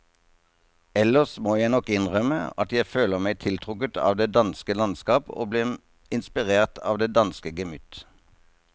Ellers må jeg nok innrømme at jeg føler meg tiltrukket av det danske landskap og blir inspirert av det danske gemytt.